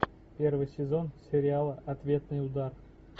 первый сезон сериала ответный удар